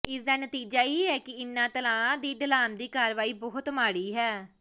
ਇਸ ਦਾ ਨਤੀਜਾ ਇਹ ਹੈ ਕਿ ਇਨ੍ਹਾਂ ਤਲਾਆਂ ਦੀ ਢਲਾਣ ਦੀ ਕਾਰਵਾਈ ਬਹੁਤ ਮਾੜੀ ਹੈ